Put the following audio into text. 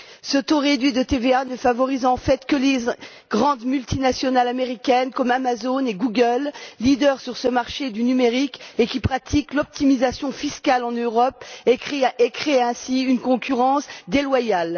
Ce taux réduit de TVA ne favorise en fait que les grandes multinationales américaines comme Amazon et Google, leaders sur ce marché du numérique, qui pratiquent l'optimisation fiscale en Europe et créent ainsi une concurrence déloyale.